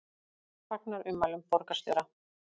Fagnar ummælum borgarstjóra